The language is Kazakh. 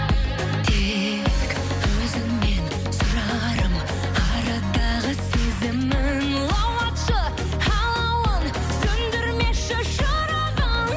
тек өзіңнен сұрарым арадағы сезімін лаулатшы алауын сөндірмеші шырағын